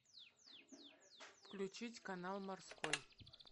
включить канал морской